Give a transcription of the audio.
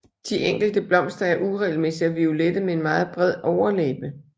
De enkelte blomster er uregelmæssige og violette med en meget bred overlæbe